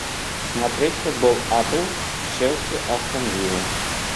смотреть футбол апл челси астон вилла